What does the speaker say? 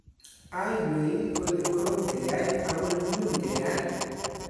aywei kole korom keyai ako nyumnyum keyai